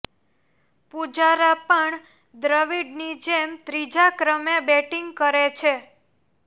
પૂજારા પણ દ્રવિડની જેમ ત્રીજા ક્રમે બેટિંગ કરે છે